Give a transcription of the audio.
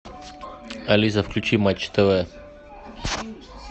алиса включи матч тв